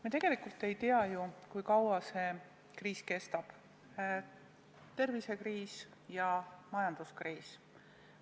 Me tegelikult ei tea, kui kaua see kriis kestab – tervisekriis ja majanduskriis.